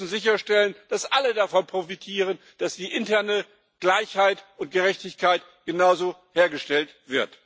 Wir müssen sicherstellen, dass alle davon profitieren, dass die interne Gleichheit und Gerechtigkeit genauso hergestellt wird.